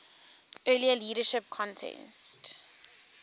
earlier leadership contest